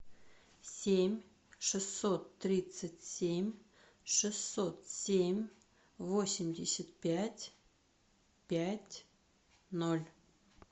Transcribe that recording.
семь шестьсот тридцать семь шестьсот семь восемьдесят пять пять ноль